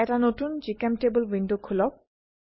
এটা নতুন জিচেম্টেবল উইন্ডো খোলক